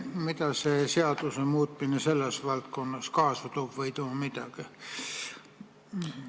Mida see seaduse muutmine selles valdkonnas kaasa toob või ei too midagi?